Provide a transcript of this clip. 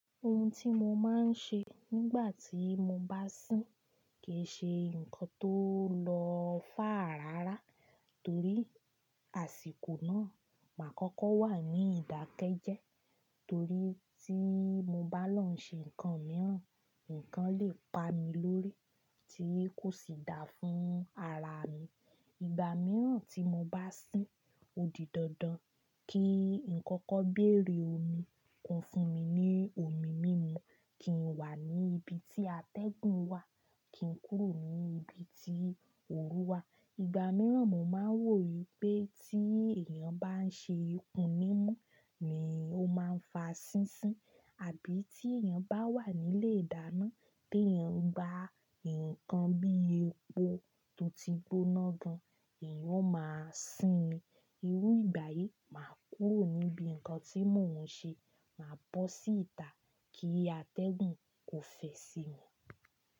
Ohun tí mo máa ń ṣe nígbà tí mo bá sín kì í ṣe nǹkan tóo lọ fàr rara torí àsìkò náà, màá kọ́kọ́ wà ní ìdákẹ́ jẹ torí tí mo bá lọ ń ṣe nǹkan mìíràn, nnkan lè pa mi lórí tí kò sì da fún ara mi. Ìgbà mìíràn tí mo bá sín odi dandan kí n kọkọ béèrè omi kan fún mi ní omi mímu, kí n wà ní ibi tí atẹ́gùn wà, kí n kúrò ní ibi tí òru wà. Ìgbà mìíràn mó máa ń wò wípé tí èèyàn bá ń ṣe ikún nímu ni ó máa ń fa sísín àbí tí èèyàn bá wà nílé ìdáná tí èèyàn ngba nnkan bí epo tó ti gbóná gan, èèyàn o máa sín ni. Irú ìgbà yìí màá kúrò níbi nnkan tí mò ń ṣe, màá bọ́ sí ìta kí atẹ́gùn kó fẹ sí mi.